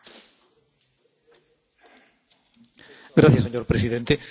Señor presidente, hago mías todas las palabras de usted, señora Mogherini.